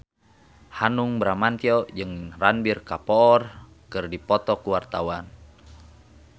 Hanung Bramantyo jeung Ranbir Kapoor keur dipoto ku wartawan